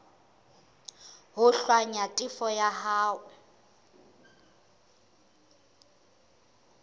ho hlwaya tefo ya hao